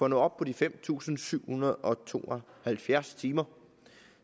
nå op på de fem tusind syv hundrede og to og halvfjerds timer